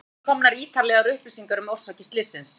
Enn eru ekki komnar ítarlegar upplýsingar um orsakir slyssins.